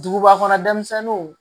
Duguba kɔnɔ denmisɛnninw